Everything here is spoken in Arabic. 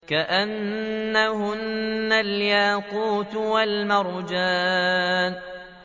كَأَنَّهُنَّ الْيَاقُوتُ وَالْمَرْجَانُ